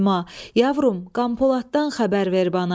Yavrum, Qəmpolatdan xəbər ver bana.